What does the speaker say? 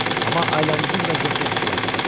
Amma ailəmizin vəziyyəti yaxşılaşmadı.